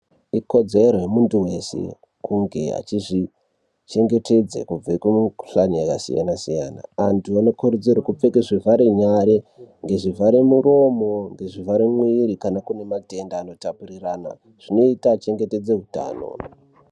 Ikodzero yemuntu wese kunge achizvichengetedze kubve kumikhuhlani yakasiyana siyana. Antu anokurudzirwa kupfeka zvivhare nyare ngezvivhare miromo ngezvivhare mwiri kana kune matenda anotapukirana. Zvinoita achengetedze hutano.